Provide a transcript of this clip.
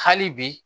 Hali bi